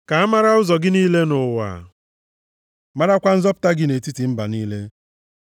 Ka a mara ụzọ gị niile nʼụwa, marakwa nzọpụta gị nʼetiti mba niile.